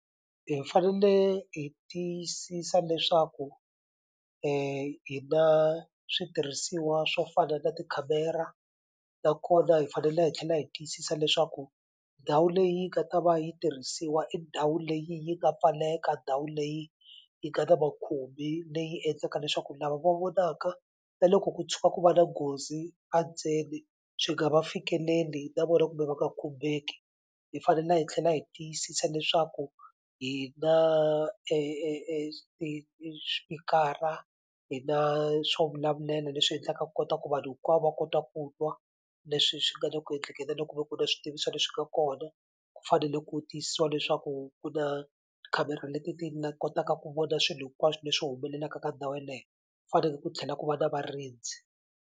Hi fanele hi tiyisisa leswaku hi na switirhisiwa swo fana na tikhamera nakona hi fanele hi tlhela hi tiyisisa leswaku ndhawu leyi nga ta va yi tirhisiwa i ndhawu leyi yi nga pfaleka ndhawu leyi yi nga na makhumbi leyi endlaka leswaku lava va vonaka na loko ku tshuka ku va na nghozi a ndzeni swi nga va fikeleli na vona kumbe va nga khumbeki hi fanela hi tlhela hi tiyisisa leswaku hi na swipikara hi na swo vulavulela leswi endlaka ku kota ku vanhu hinkwavo va kota ku twa leswi swi nga le ku endlekeni na loko kuve ku na switiviso leswi nga kona ku fanele ku tiyisisiwa leswaku ku na tikhamera leti ti nga kotaka ku vona swilo hinkwaswo leswi humelelaka ka ndhawu yeleyo ku faneke ku tlhela ku va na varindzi.